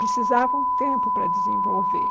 Precisava um tempo para desenvolver.